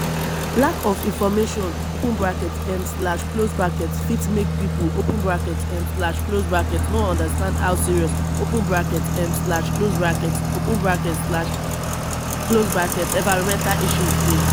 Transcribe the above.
lack of information open bracket um slash close bracket fit make pipo open bracket um slash close bracket no understand how serious open bracket um slash close bracket open bracket um slash close bracket environmental issue dey